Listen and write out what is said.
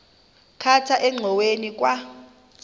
khatha engxoweni kwa